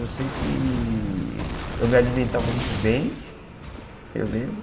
Eu sei que eu me alimentava muito bem, eu lembro.